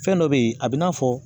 Fɛn dɔ be yen a bi n'a fɔ